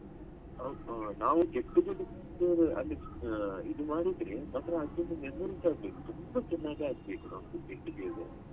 ಹೋ ಹೋ ನಾವು get together ಗೆ ಅಲ್ಲಿ ಇದು ಮಾಡಿದ್ರೆ memories ಆಗ್ಬೇಕು ತುಂಬಾ ಚೆನ್ನಾಗ್ ಆಗ್ಬೇಕು ನಮ್ಮ get together .